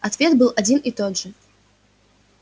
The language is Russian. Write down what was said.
ответ был один и тот же